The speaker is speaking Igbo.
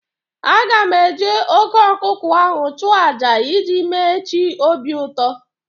A ga-eji oké ọkụkọ ahụ chụọ àjà iji mee chi obi ụtọ